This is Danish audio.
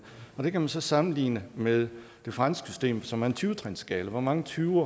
det kan man så sammenligne med det franske system som er en tyve trinsskala hvor mange tyve